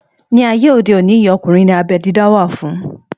Ní ayé òde òní yìí, ọkùnrin ní abẹ́ dídá wá fún